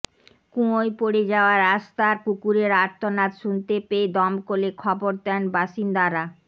কুয়োয় পড়ে যাওয়া রাস্তার কুকুরের আর্তনাদ শুনতে পেয়ে দমকলে খবর দেন বাসিন্দারা